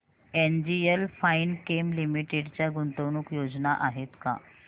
NGL Finechem Limited च्या गुंतवणूक योजना आहेत का